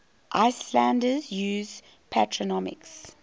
icelanders use patronymics